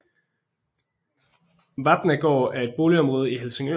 Vapnagaard er et boligområde i Helsingør